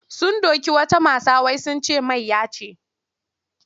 Sun doki wata mata wai sun ce mayya ce.